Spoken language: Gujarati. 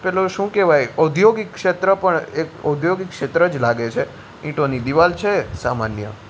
પેલુ શુ કેવાય ઔદ્યોગિક ક્ષેત્ર પણ એક ઔદ્યોગિક ક્ષેત્ર જ લાગે છે ઈંટોની દીવાલ છે સામાન્ય.